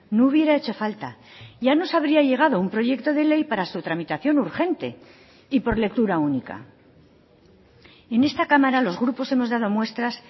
no hubiera hecho falta ya nos habría llegado un proyecto de ley para su tramitación urgente y por lectura única en esta cámara los grupos hemos dado muestras